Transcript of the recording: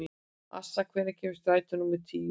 Assa, hvenær kemur strætó númer tíu?